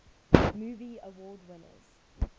movie award winners